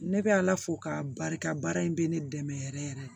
Ne bɛ ala fo k'a barika baara in bɛ ne dɛmɛ yɛrɛ yɛrɛ